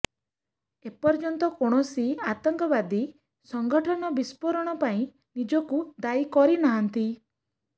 ଏପର୍ଯ୍ୟନ୍ତ କୌଣସି ଆତଙ୍କବାଦୀ ସଂଗଠନ ବିସ୍ପୋରଣ ପାଇଁ ନିଜକୁ ଦାୟୀ କରିନାହାନ୍ତି